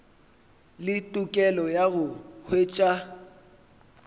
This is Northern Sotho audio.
le tokelo ya go hwetša